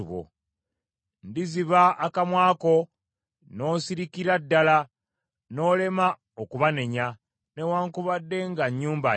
Ndiziba akamwa ko, n’osirikira ddala, n’olema okubanenya, newaakubadde nga nnyumba njeemu.